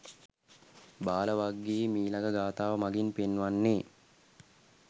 බාල වග්ගයේ මීළඟ ගාථාව මඟින් පෙන්වන්නේ,